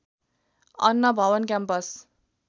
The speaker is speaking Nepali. अन्न भवन क्याम्पस